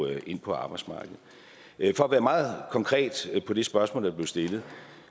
ind på arbejdsmarkedet for at være meget konkret på det spørgsmål der blev stillet